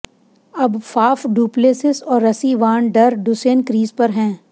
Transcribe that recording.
अब Faf du Plessis और Rassie van der Dussen crease पर हैं